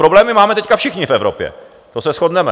Problémy máme teď všichni v Evropě, to se shodneme.